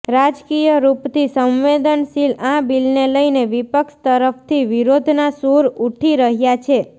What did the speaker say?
રાજકીય રૂપથી સંવેદનશીલ આ બિલને લઇને વિપક્ષ તરફથી વિરોધના સૂર ઉઠી રહ્યા છે